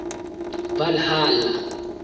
valhalla